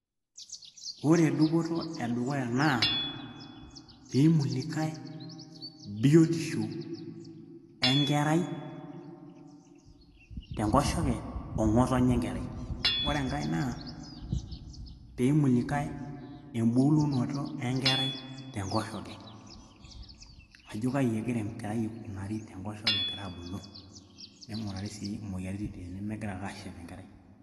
ore dupoto e dukuya naa piimulikay biotisho enkerai tenkoshoke oo ng'otonye enkerai ore enkay naa peimulikay embulunoto enkerai tenkoshoke ajo kaji egira enkerai aikunari tenkoshoke egira abulu ning'urari sii imoyiaritin tenemegira ake aashep enkerai.